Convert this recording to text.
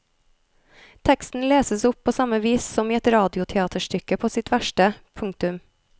Teksten leses opp på samme vis som i et radioteaterstykke på sitt verste. punktum